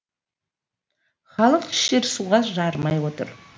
халық ішер суға жарымай отыр